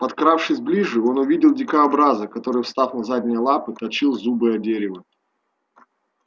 подкравшись ближе он увидел дикобраза который встав на задние лапы точил зубы о дерево